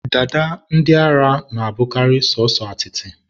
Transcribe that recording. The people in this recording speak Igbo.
dada ndị ara na-abụ sọsọ atịtị